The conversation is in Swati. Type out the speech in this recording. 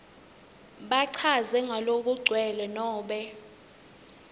bachaze ngalokugcwele nobe